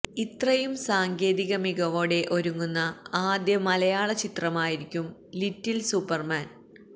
ഇത്രയും സാങ്കേതിക മികവോടെ ഒരുങ്ങുന്ന ആദ്യ മലയാള ചിത്രമായിരിക്കും ലിറ്റില് സൂപ്പര്മാന്